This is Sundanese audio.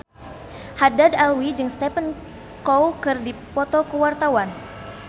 Haddad Alwi jeung Stephen Chow keur dipoto ku wartawan